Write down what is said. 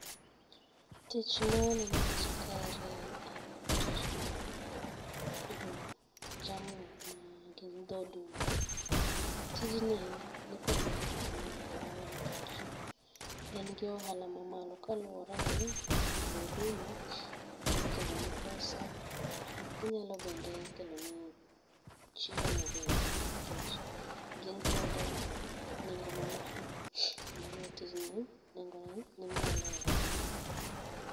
Tich ma waneno e picha kaeri en tich mar pidho jamni ma gin dho dume. Tijni nikod nengo ahiya e aluora wa nikech en gi ohala mamalo kaluore ni dho dume nyalo kelo ni pesa ,ginyalo bende keloni chiemo bende nikech gin kod nengo mamalo, emo omiyo tijni nengone ni malo e aluorawa